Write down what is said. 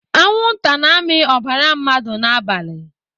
Anwụnta na-amị ọbara mmadụ n'abalị.